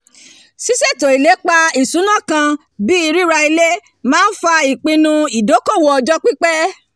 ṣíṣètò ilépa ìṣúná kan bíi rira ilé máa ń fa ìpinnu ìdókòwò ọjọ́ pípẹ́